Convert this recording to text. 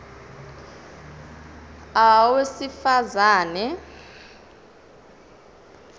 a owesifaz ane